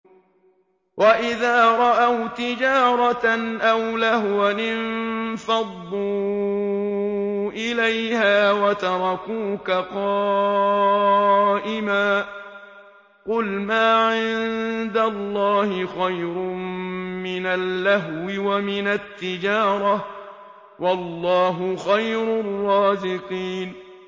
وَإِذَا رَأَوْا تِجَارَةً أَوْ لَهْوًا انفَضُّوا إِلَيْهَا وَتَرَكُوكَ قَائِمًا ۚ قُلْ مَا عِندَ اللَّهِ خَيْرٌ مِّنَ اللَّهْوِ وَمِنَ التِّجَارَةِ ۚ وَاللَّهُ خَيْرُ الرَّازِقِينَ